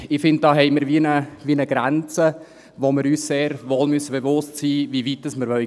Ich finde, da haben wir eine Grenze, wo wir uns wohl bewusst sein müssen, wie weit wir gehen wollen.